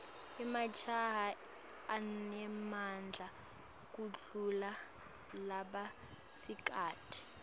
emajaha anemadla kudulla labasikati